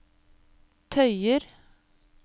tøyer